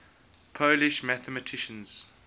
polish mathematicians